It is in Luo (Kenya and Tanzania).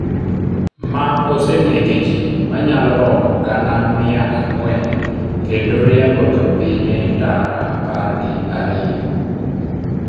ma osenege jii manyalo romo gana mia ang'wen kendo riembo jopinye tara apar gi ariyo